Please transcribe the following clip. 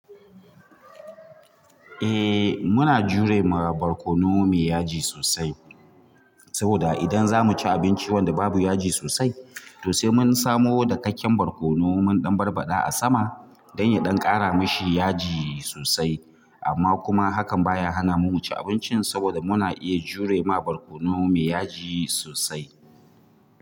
Eh muna jure ma barkono me yaji sosai saboda idan zamu ci abinci wanda babu yaji sosai to sai mun samo dakakken barkono mun barbaɗa mashi a sama don ya ƙara mashi yaji sosai amma kuma hakan baya hana mu ci abincin saboda muna iya jure ma barkono mai yaji sosai.